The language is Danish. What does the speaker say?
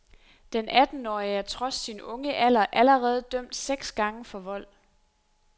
Den attenårige er trods sin unge alder allerede dømt seks gange for vold.